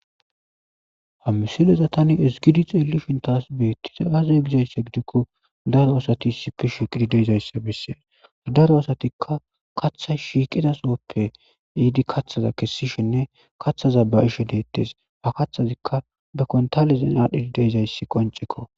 hamisileza tani esgidi xeelishin taas beettiza aze gizayssa gidikko daro asati isipe shiqidi deezayssa bessees daro asatikka katha shiiqida sooppe iidi kathaza kessishinne kathaza ba ishe deettes ha kathazikka be kontalezen aadhdhidi deezayssi qoncekko